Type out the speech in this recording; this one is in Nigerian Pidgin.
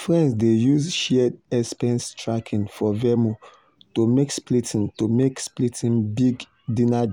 friends dey use shared expense tracking for venmo to make splitting to make splitting big dinner